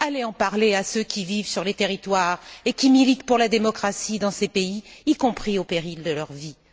Allez en parler à ceux qui vivent sur les territoires et qui militent pour la démocratie dans ces pays, y compris au péril de leur vie.